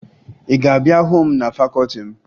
Ị ga-abịa hụ m na fakọọti m!